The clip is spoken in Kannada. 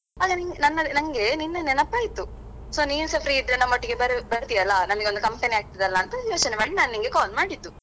ನನ್ಗೆ ನಿನ್ನೆ ನೆನಪಾಯಿತು so ನೀನ್ಸ free ಇದ್ರೆ ನಮ್ಮೊಟ್ಟಿಗೆ ಬರು~ ಬರ್ತಿಯಲ್ಲ ನಂಗೆ ಒಂದು company ಆಗ್ತದಲ್ಲ ಅಂತ ಯೋಚನೆ ಮಾಡಿ ನಾನ್ ನಿನ್ಗೆ call ಮಾಡಿದ್ದು.